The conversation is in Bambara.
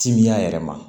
Timiya yɛrɛ ma